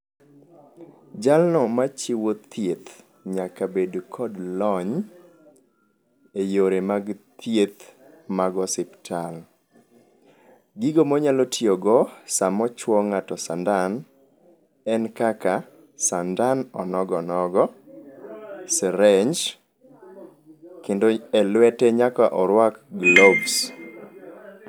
Jalno machiwo thieth nyaka bed kod lony e yore mag thieth mag osiptal. Gigo monyalo tiyogo samo chuwo ng'ato sandan en kaka sandan onogo nogo, syringe kendo elwete nyaka orwak gloves.